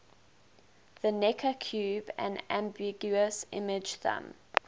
the necker cube an ambiguous image thumb